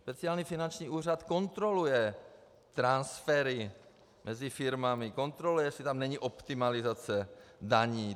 Speciální finanční úřad kontroluje transfery mezi firmami, kontroluje, jestli tam není optimalizace daní.